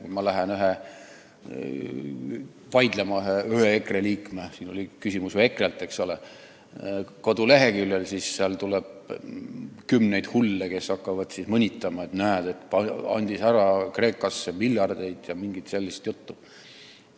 Kui ma lähen kodulehel vaidlema ühe EKRE liikmega – siin oli küsimus ju EKRE-lt, eks ole –, siis seal võtab sõna kümneid hulle, kes hakkavad mõnitama, et näed, andis ära Kreekasse miljardeid ja mingit muud sellist juttu ajama.